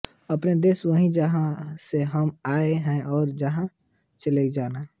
अपना देश वही है जहाँ से हम आए हैं और जहाँ चले जाना है